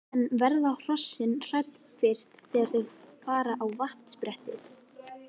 En verða hrossin hrædd fyrst þegar þau fara á vatnsbrettið?